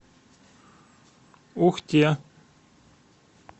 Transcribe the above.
ухте